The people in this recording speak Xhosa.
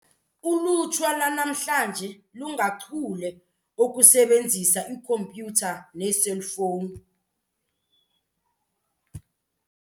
Ulutsha lwanamhla lungachule okusebenzisa ikhompyutha neeselfowuni.